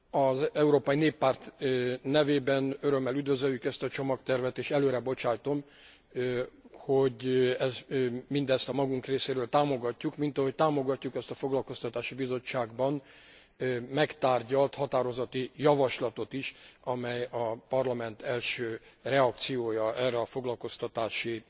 Az Európai Néppárt nevében örömmel üdvözöljük ezt a csomagtervet, és előrebocsátom, hogy mindezt a magunk részéről támogatjuk, mint ahogy támogatjuk azt a Foglalkoztatási Bizottságban megtárgyalt határozati javaslatot is, amely a Parlament első reakciója erre a foglalkoztatási